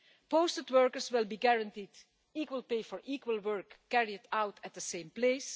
Posted workers will be guaranteed equal pay for equal work carried out at the same place.